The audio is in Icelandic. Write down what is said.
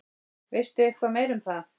Veistu eitthvað meira um það?